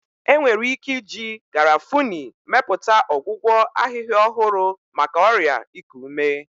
Enwere ike iji Garafuni mepụta ọgwụgwọ ahịhịa ọhụrụ maka ọrịa iku ume.